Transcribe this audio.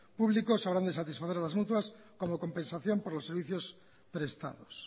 públicos habrán de satisfacer a las mutuas como compensación por los servicios prestados